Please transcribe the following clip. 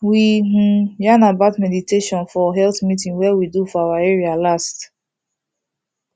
we um yarn about meditation for health meeting wey we do for our area last